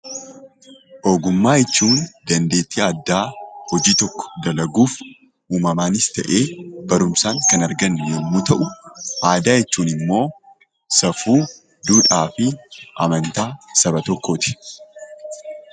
Ogummaa jechuun dandeettii addaa hojii tokko dalaguuf uumamaanis ta'ee barumsaan kan argannu yommuu ta'u aadaa jechuun immoo safuu, duudhaa fi amantaa saba tokkooti.